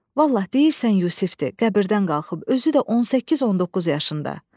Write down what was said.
Vallah, deyirsən Yusifdir, qəbirdən qalxıb, özü də 18-19 yaşında.